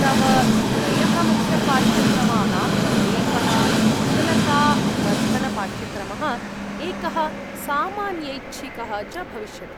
तव त्रयः मुख्यपाठ्यक्रमाः, एकः कुशलतावर्धनपाठ्यक्रमः, एकः सामान्यैच्छिकः च भविष्यति।